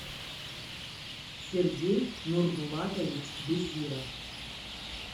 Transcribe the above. сергей нурбулатович безиров